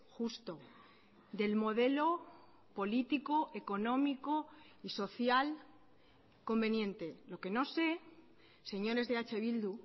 justo del modelo político económico y social conveniente lo que no sé señores de eh bildu